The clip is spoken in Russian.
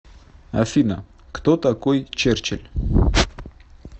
афина кто такой черчилль